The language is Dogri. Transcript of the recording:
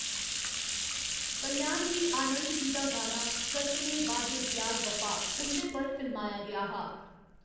कल्याणजी आनंदजी दा गाना 'कस्मे वादे प्यार वफा' उं'दे पर फिल्माया गेआ हा।